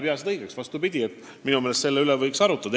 Aga minu meelest selle üle võiks arutada.